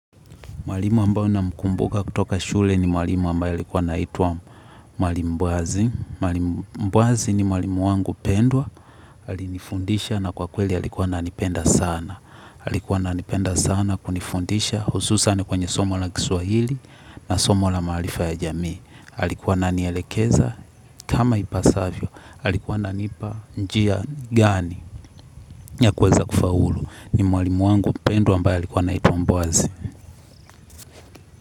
Mwalimu ambae namkumbuka kutoka shule ni mwalimu ambae alikua anaitwa mwalimu mbwazi, mwalimu mbwazi ni mwalimu wangu pendwa alinifundisha na kwakweli alikua ananipenda sana alikuwa nanipenda sana kunifundisha hususani kwenye somo la kiswahili na somo la maarifa ya jamii. Alikuwa nanielekeza kama ipasavyo, alikuwa ana nipa njia gani ya kuweza kufaulu ni mwalimu wangu mpendwa ambae alikuwa naitwa mbwazi.